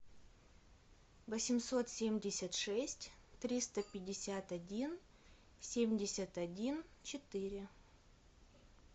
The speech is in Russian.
восемьсот семьдесят шесть триста пятьдесят один семьдесят один четыре